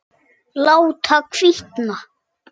Láta hvína.